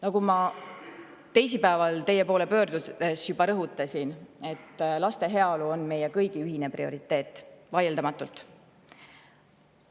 Nagu ma juba teisipäeval rõhutasin, kui teie poole pöördusin: laste heaolu on meie kõigi ühine prioriteet, vaieldamatult.